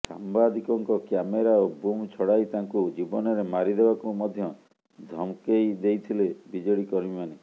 ସାମ୍ବାଦିକଙ୍କ କ୍ୟାମେରା ଓ ବୁମ୍ ଛଡ଼ାଇ ତାଙ୍କୁ ଜୀବନରେ ମାରିଦେବାକୁ ମଧ୍ୟ ଧମ ଦେଇଥିଲେ ବିଜେଡି କର୍ମୀମାନେ